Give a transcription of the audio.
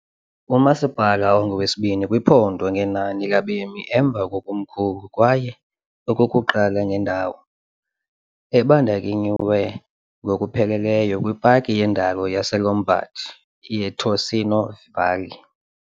Umasipala ungowesibini kwiphondo ngenani labemi emva kwekomkhulu kwaye okokuqala ngendawo, ebandakanyiwe ngokupheleleyo kwipaki yendalo yaseLombard yeTicino Valley .